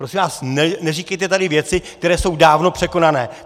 Prosím vás, neříkejte tady věci, které jsou dávno překonané.